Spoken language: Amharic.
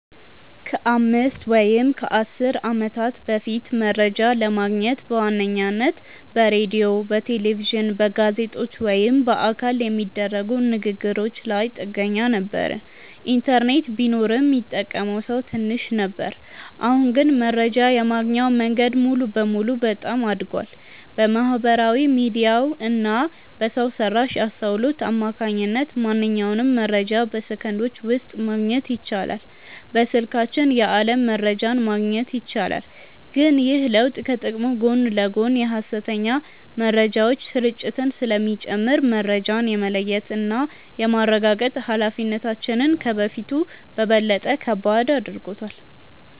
ከአምስት ወይም ከአሥር ዓመታት በፊት መረጃ ለማግኘት በዋነኝነት በሬዲዮ፣ በቴሌቪዥን፣ በጋዜጦች ወይም በአካል በሚደረጉ ንግ ግሮች ላይ ጥገኛ ነበርን። ኢንተርኔት ቢኖርም ሚጠቀመው ሰው ትንሽ ነበር። አሁን ግን መረጃ የማግኛው መንገድ ሙሉ በሙሉ በጣም አድጓል። በማህበራዊ ሚዲያ እና በሰው ሰራሽ አስውሎት አማካኝነት ማንኛውንም መረጃ በሰከንዶች ውስጥ ማግኘት ይቻላል። በስልካችን የዓለም መረጃን ማግኘት ይቻላል። ግን ይህ ለውጥ ከጥቅሙ ጎን ለጎን የሐሰተኛ መረጃዎች ስርጭትን ስለሚጨምር፣ መረጃን የመለየትና የማረጋገጥ ኃላፊነታችንን ከበፊቱ በበለጠ ከባድ አድርጎታል።